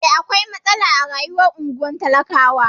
Eh, akwai matsala a rayuwar unguwar talakawa.